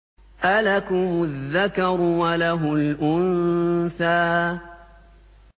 أَلَكُمُ الذَّكَرُ وَلَهُ الْأُنثَىٰ